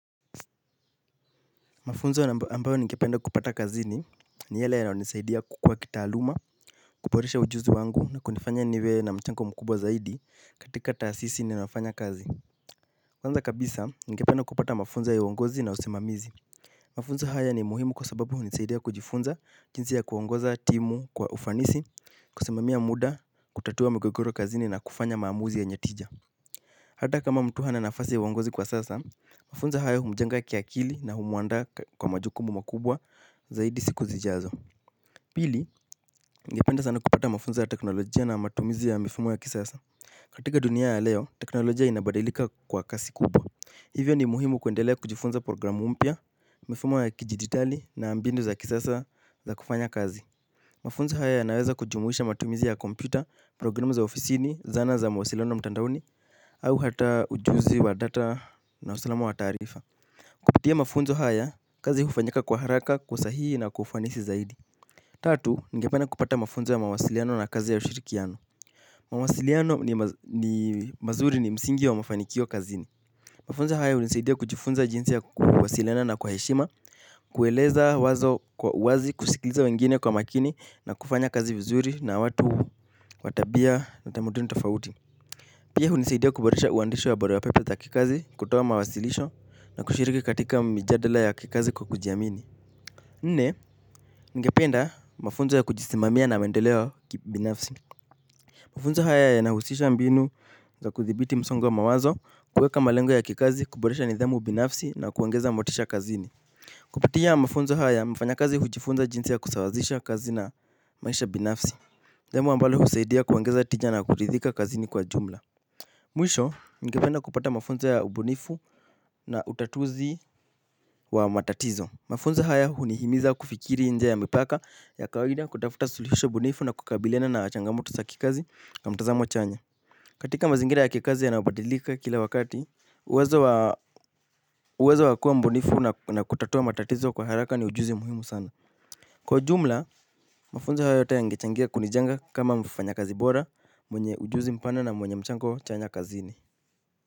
Mafunzo ambayo ningependa kupata kazini ni yale yanayo nisaidia kukua kitaaaluma, kuboresha ujuzi wangu na kunifanya niwe na mchango zaidi katika taasisi ninayofanya kazi. Kwanza kabisa ningependa kupata mafunzo ya uongozi na usimamizi. Mafunzo haya ni muhimu kwa sababu hunisaidia kujifunza jinsi ya kuongoza timu kwa ufanisi, kusimami muda, kutatua migogoro kazini na kufanya maamuzi yenye tija. Hata kama mtu hana nafasi ya uongozi kwa sasa kufunza hayo humjenga kiakili na humuandaa na majukumu makubwa zaidi kwa siku zijao. Pili, ngependa sana kupata mafunzo ya teknolojia na matumizi ya mifumo ya kisasa. Katika dunia ya leo, teknolojia inabadilika kwa kasi kubwa. Hivyo ni muhimu kuendelea kujifunza program mpya, mifumo ya kidigitali na mbinu za kisasa za kufanya kazi. Mafunzo haya yanaweza kujumuisha matumizi ya kompyuta, programu za ofisini, zana za mawasiliano mtandaoni au hata ujuzi wa data na usalamu wa taarifa. Kupitia mafunzo haya kazi hufanyika kwa haraka, kwa usahihi na kwa ufanisi zaidi. Tatu, ningependa kupata mafunzo ya mawasiliano na kazi ya ushirikiano. Mawasiliano ni mazuri ni msingi wa mafanikio kazini. Mafunzo haya unisaidia kujifunza jinsi ya kuwasiliana na kwa heshima. Kueleza wazo kwa uwazi, kusikiliza wengine kwa makini na kufanya kazi vizuri na watu watabia na tamaduni tofauti. Pia hunisaidia kuboresha uwandishi wa barua pepe za kikazi, kutoa mawasilisho na kushiriki katika mijadala ya kikazi kwa kujiamini. Nne, ningependa mafunzo ya kujisimamia na maendeleo kibinafsi. Mafunzo haya yanahusisha mbinu za kuthibiti msongo wa mawazo, kuweka malengo ya kikazi, kuboresha nidhamu binafsi na kuongeza motisha kazini. Kupitia mafunzo haya mfanyakazi hujifunza jinsi ya kusawazisha kazi na maisha binafsi sehemu ambalo husaidia kuongeza tija na kuridhika kazini kwa jumla. Mwisho, ningependa kupata mafunzo ya ubunifu na utatuzi wa matatizo. Mafunzo haya hunihimiza kufikiri nje ya mipaka ya kawaida kutafuta suluhisho bunifu na kukabiliana na changamoto za kikazi na mtazamo chanya. Katika mazingira ya kikazi yanayo badilika kila wakati, uwezo wakuwa mbunifu na kutatua matatizo kwa haraka ni ujuzi muhimu sana. Kwa jumla, mafunzo haya yote yangechangia kunijenga kama mfanyakazi bora, mwenye ujuzi mpana na mwenye mchango chanya kazini.